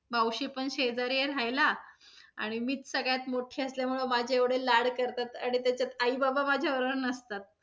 मावशी पण शेजारी आहे राहायला. आणि मीच सगळ्यात मोठी असल्यामुळे माझे एवढे लाड करतात, आणि त्याच्यात आईबाबा माझ्या बरोबर नसतात.